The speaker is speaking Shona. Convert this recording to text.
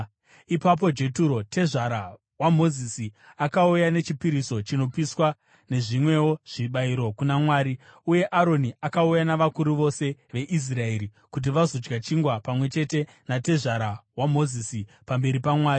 Ipapo Jeturo, tezvara waMozisi, akauya nechipiriso chinopiswa nezvimwewo zvibayiro kuna Mwari, uye Aroni akauya navakuru vose veIsraeri kuti vazodya chingwa pamwe chete natezvara waMozisi pamberi paMwari.